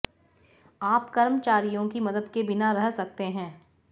आप कर्मचारियों की मदद के बिना कर सकते हैं